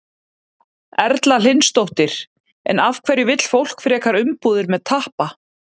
Erla Hlynsdóttir: En af hverju vill fólk frekar umbúðir með tappa?